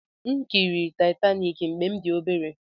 M kiri Taitaniki mgbe m dị obere.